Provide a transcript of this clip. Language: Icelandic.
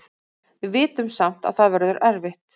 Við vitum samt að það verður erfitt.